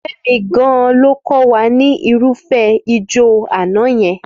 Fẹ́mi gan-an ló kọ́ wa ní irúfẹ́ ìjọ àná yẹn.